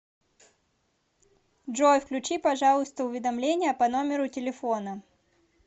джой включи пожалуйста уведомления по номеру телефона